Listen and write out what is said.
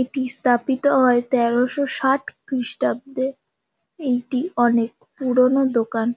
এটি স্থাপিত হয় তেরোশো ষাট খ্রিষ্টাব্দে। এইটি অনেক পুরোনো দোকান